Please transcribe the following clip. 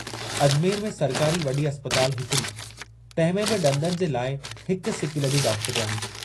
अजमेर में सरकारी वॾी अस्पताल हिकिड़ी, तहिं में बि इंदनि जे लाइ हिक सिकीलधी डॉक्टरयाणी।